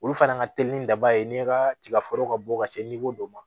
Olu fana ka teli ni daba ye n'i ka tigaforo ka bɔ ka se dɔ ma